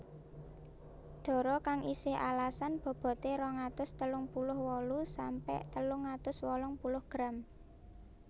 Dara kang isih alasan bobote rong atus telung puluh wolu sampe telung atus wolung puluh gram